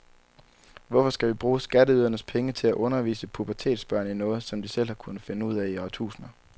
Hvorfor skal vi bruge skatteydernes penge til at undervise pubertetsbørn i noget, som de selv har kunnet finde ud af i årtusinder?